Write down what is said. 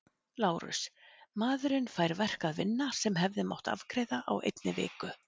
LÁRUS: Maðurinn fær verk að vinna sem hefði mátt afgreiða á einni viku.